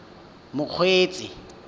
mokgweetsi